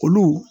Olu